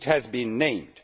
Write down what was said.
It has been named.